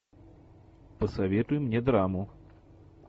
посоветуй мне драму